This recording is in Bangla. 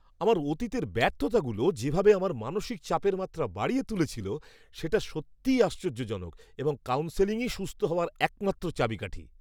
আমার অতীতের ব্যর্থতাগুলো যেভাবে আমার মানসিক চাপের মাত্রা বাড়িয়ে তুলেছিল সেটা সত্যিই আশ্চর্যজনক এবং কাউন্সেলিংই সুস্থ হওয়ার একমাত্র চাবিকাঠি।